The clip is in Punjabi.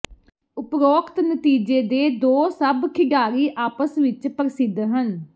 ਉਪਰੋਕਤ ਨਤੀਜੇ ਦੇ ਦੋ ਸਭ ਖਿਡਾਰੀ ਆਪਸ ਵਿੱਚ ਪ੍ਰਸਿੱਧ ਹਨ